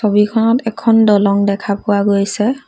ছবিখনত এখন দলং দেখা পোৱা গৈছে।